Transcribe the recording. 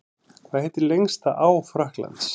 Hvað heitir lengsta á Frakklands?